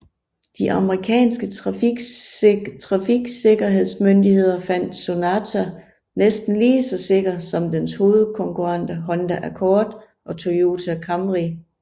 De amerikanske trafiksikkerhedsmyndigheder fandt Sonata næsten lige så sikker som dens hovedkonkurrenter Honda Accord og Toyota Camry